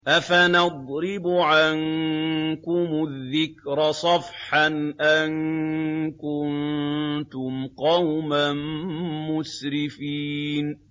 أَفَنَضْرِبُ عَنكُمُ الذِّكْرَ صَفْحًا أَن كُنتُمْ قَوْمًا مُّسْرِفِينَ